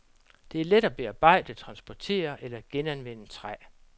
Det er let at bearbejde, transportere eller genanvende træ.